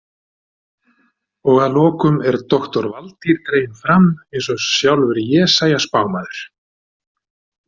Og að lokum er doktor Valtýr dreginn fram eins og sjálfur Jesaja spámaður.